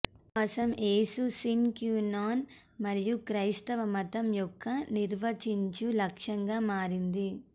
విశ్వాసం యేసు కోసం sine qua non మరియు క్రైస్తవ మతం యొక్క ఒక నిర్వచించు లక్షణంగా మారింది